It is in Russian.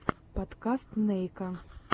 подкаст нейка